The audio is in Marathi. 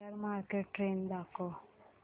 शेअर मार्केट ट्रेण्ड दाखव